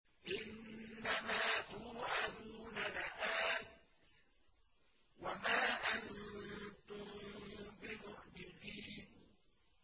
إِنَّ مَا تُوعَدُونَ لَآتٍ ۖ وَمَا أَنتُم بِمُعْجِزِينَ